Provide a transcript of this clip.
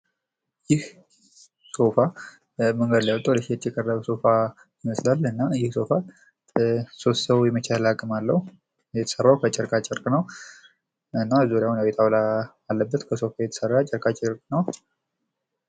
ይህ ሶፋ ምስሉ ላይ ተቀምጧል። እና ይህ ሶፋ ሶስት ሰው የመቻል አቅም አለው። የተሰራው ከጨርቃጨርቅ ነው። እና የጣውላ አለበት። የተሰራው ጨርቃጨርቅ ነው።